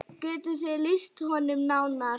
Geturðu lýst þeim nánar?